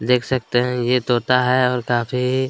देख सकते है ये तोता है और काफ़ी--